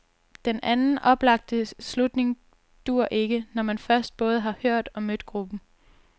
Den anden oplagte slutning dur ikke, når man først både har hørt og mødt gruppen.